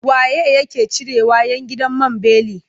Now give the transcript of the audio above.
Wa ye yake cirewa 'yan gidan man beli?